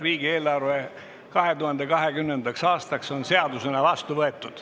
Riigieelarve 2020. aastaks on seadusena vastu võetud.